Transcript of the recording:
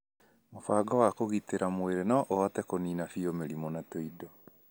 Mũbango wa kũgitĩra mwĩrĩ no ũhote kũniina biũ mĩrimũ na tũindo